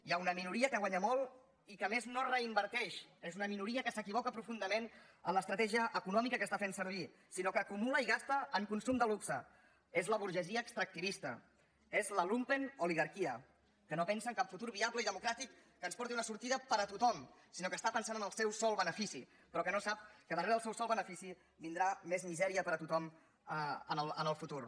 hi ha una minoria que guanya molt i que a més no reinverteix és una minoria que s’equivoca profundament en l’estratègia econòmica que està fent servir sinó que acumula i gasta en consum de luxe és la burgesia extractivista és la lumpenoligarquia que no pensa en cap futur viable i democràtic que ens porti una sortida per a tothom sinó que està pensant en el seu sol benefici però que no sap que darrere del seu sol benefici vindrà més misèria per a tothom en el futur